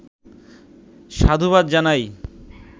সাধুবাদ জানাই